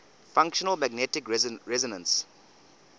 functional magnetic resonance